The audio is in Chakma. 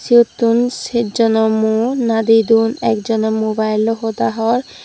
siyottun sejjono mu nadedon ekjone mubailloi hoda hor.